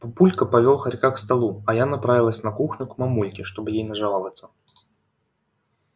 папулька повёл хорька к столу а я направилась на кухню к мамульке чтобы ей нажаловаться